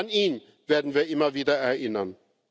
Auch an ihn werden wir immer wieder erinnern.